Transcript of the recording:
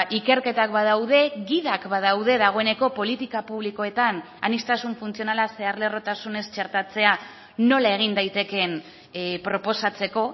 ikerketak badaude gidak badaude dagoeneko politika publikoetan aniztasun funtzionala zeharlerrotasunez txertatzea nola egin daitekeen proposatzeko